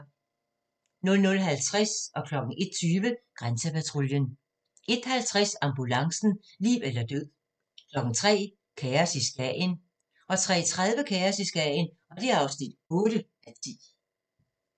00:50: Grænsepatruljen 01:20: Grænsepatruljen 01:50: Ambulancen - liv eller død 03:00: Kaos i Skagen 03:30: Kaos i Skagen (8:10)